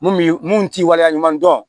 Mun b'i mun t'i waleya ɲuman dɔn